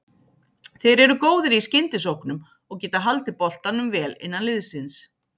Þeir eru góðir í skyndisóknum og getað haldið boltanum vel innan liðsins.